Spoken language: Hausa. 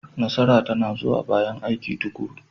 Nasara tana zuwa bayan aiki tuƙuru.